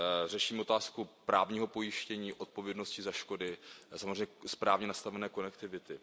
Řešíme otázku právního pojištění, odpovědnosti za škody a samozřejmě správně nastavené konektivity.